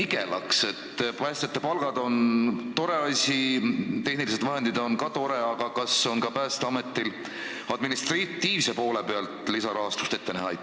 Päästjate suuremad palgad on tore asi, tehnilised vahendid on ka tore asi, aga kas on Päästeametil ka administratiivse poole huvides lisarahastust loota?